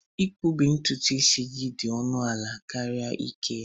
Ịkpu ntutu gị dị ọnụ ala karịa ike isi